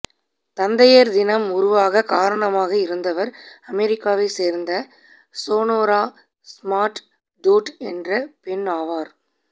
தந்தையர் தினம் உருவாகக் காரணமாக இருந்தவர் அமெரிக்காவைச் சேர்ந்த சோனோரா ஸ்மார்ட் டோட் என்ற பெண் ஆவார்